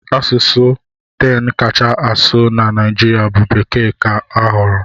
Asụsụ 10 kacha asụ na Naịjirịa bụ Bekee ka a họọrọ.